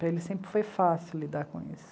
Para ele sempre foi fácil lidar com isso.